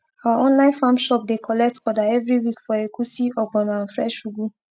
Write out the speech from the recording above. our online farm shop dey collect order every week for egusi ogbono and fresh ugu